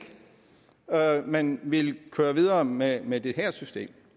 man ville køre videre med med det her system